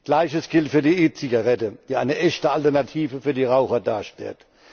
Gleiches gilt für die E Zigarette, die eine echte Alternative für die Raucher darstellt.